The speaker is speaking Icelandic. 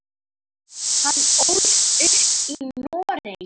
Hann ólst upp í Noregi.